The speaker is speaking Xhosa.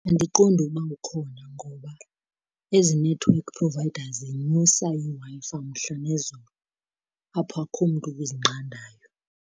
Andiqondi ukuba ukhona ngoba ezi-network providers zinyusa iWi-Fi umhla nezolo, apho akho mntu uzinqandayo.